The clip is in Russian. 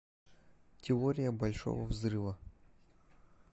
теория большого взрыва